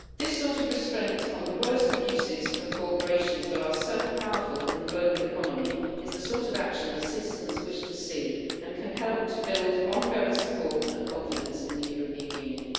This sort of restraint on the worst abuses of corporations that are so powerful in the global economy is the sort of action that citizens wish to see, and can help to build ongoing support and confidence in the European Union.